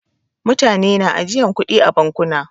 Mutane na ajiyan kuɗi a bankuna.